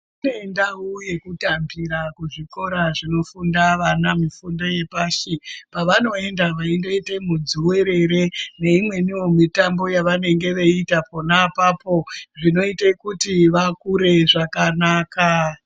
Kune ndau yekutambira kuzvikora zvinofunda vana mufundo yepashi pavanoenda vaindoita mudziwerere neimweniwo mutambo yavanenge vaiita pona apapo zvinoitawo kuti vakure zvakanaka .